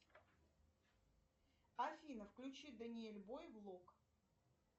афина включи даниэль бой блок